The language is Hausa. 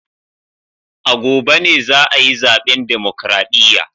A gobe ne za a yi zaben Demokradiyya